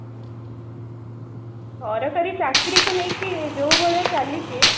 ସରକାରୀ ଚାକିରିକି ନେଇକି ଯୋଉ ଭଳିଆ ଚାଲିଛି